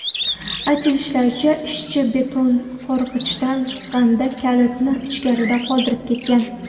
Aytilishicha, ishchi betonqorgichdan chiqqanida kalitni ichkarida qoldirib ketgan.